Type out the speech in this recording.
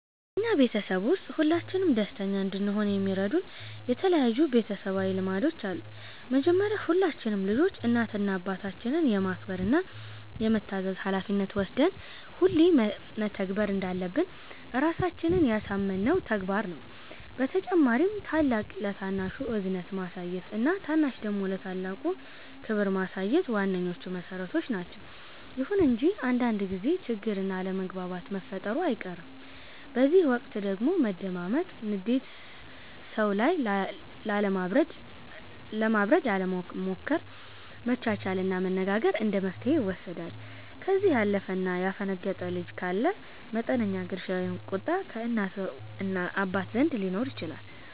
በኛ ቤተሰብ ውስጥ ሁላችንም ደስተኛ እንድሆን የሚረዱን የተለያዩ ቤተሰባዊ ልማዶች አሉ። መጀመሪያ ሁላችንም ልጆች እናት እና አባታችንን የማክበር እና የመታዘዝ ሀላፊነት ወስደን ሁሌ መተግበር እንዳለብን ራሳችንን ያሳመነው ተግባር ነው። በተጨማሪም ታላቅ ለታናሹ እዝነት ማሳየት እና ታናሽ ደግሞ ለታላቅ ክብር ማሳየት ዋነኞቹ መሠረቶች ናቸዉ። ይሁን እንጂ አንዳንድ ጊዜ ችግር እና አለመግባባት መፈጠሩ አይቀርም፤ በዚህ ወቅት ደግሞ መደማመጥ፣ ንዴት ሰዉ ላይ ለማብረድ አለመሞከር፣ መቻቻል እና መነጋገር እንደመፍትሔ ይወሰዳሉ። ከዚህ ያለፈ እና ያፈነገጠ ልጅ ካለ መጠነኛ ግርፊያ ወይም ቁጣ ከእናት እና ከአባት ዘንድ ሊኖር ይችላል።